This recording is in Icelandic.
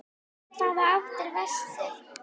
Í hvaða átt er vestur?